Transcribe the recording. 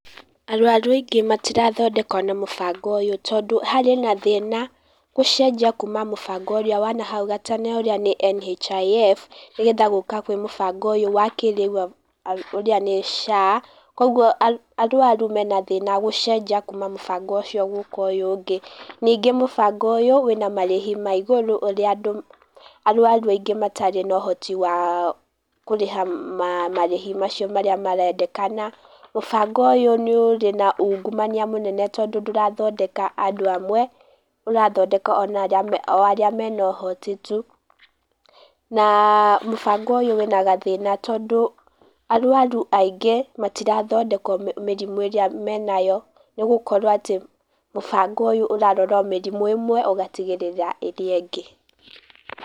Arwaru aingĩ matirathondekwo na mũbango ũyũ tondũ harĩ na thĩna gũcenjia kuma mũbango ũrĩa wa nahau gatene ũrĩa nĩ NHIF, nĩgetha gũka kwĩ mũbango wa kĩrĩu ũrĩa nĩ SHA, kwoguo arwaru mena thina gũcenjia kuma mũbango ũcio gũka ũyũ ũngĩ. Ningĩ mũbango ũyũ, wĩna marĩhi ma igũrũ, ũrĩa andũ arwaru aingĩ matarĩ na ũhoti wa kũrĩha marĩhi macio marĩa marendekana, mũbango ũyũ nĩ ũrĩ na ũngumania mũnene tondũ ndũrathondeka andũ amwe, ũrathondeka o arĩa mena ũhoti tu, na mũbango ũyũ wĩna gathĩna tondũ arwaru aingĩ matirathondekwo mĩrimũ ĩrĩa menayo nĩ gũkorwo atĩ mũbango ũyũ ũrarora o mĩrimũ ĩmwe ĩgatigĩrĩra ĩrĩa ĩngĩ.